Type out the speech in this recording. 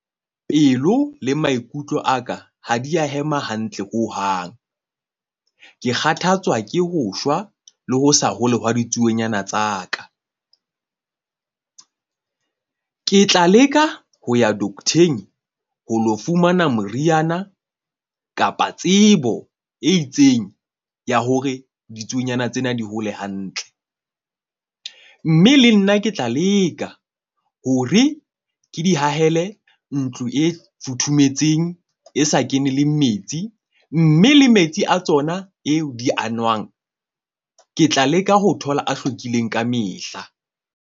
Pelo le maikutlo aka ha di a hema hantle hohang. Ke kgathatswa ke ho shwa le ho sa hole hwa ditsuonyana tsa ka. Ke tla leka ho ya docter-ng, ho lo fumana moriana kapa tsebo e itseng ya hore ditsuonyana tsena di hole hantle. Mme le nna ke tla leka hore ke di hahele ntlo e futhumetseng e sa kene le metsi, mme le metsi a tsona eo di a nwang ke tla leka ho thola a hlwekileng ka mehla.